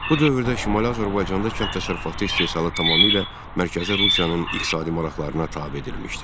Bu dövrdə Şimali Azərbaycanda kənd təsərrüfatı istehsalı tamamilə mərkəzi Rusiyanın iqtisadi maraqlarına tabe edilmişdi.